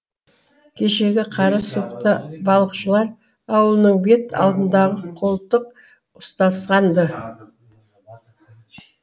кешегі қара суықта балықшылар ауылының бет алдындағы қолтық ұстасқан ды